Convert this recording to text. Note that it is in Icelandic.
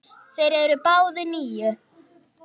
Þeir eru báðir níu.